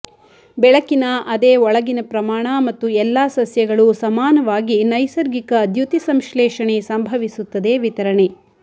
ಬೆಳಕಿನ ಅದೇ ಒಳಗಿನ ಪ್ರಮಾಣ ಮತ್ತು ಎಲ್ಲಾ ಸಸ್ಯಗಳು ಸಮಾನವಾಗಿ ನೈಸರ್ಗಿಕ ದ್ಯುತಿಸಂಶ್ಲೇಷಣೆ ಸಂಭವಿಸುತ್ತದೆ ವಿತರಣೆ